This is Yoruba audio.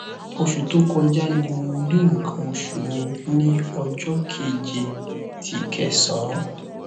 osu to koja ni mo ri nkan osu mi ni ojo keje ti kẹsán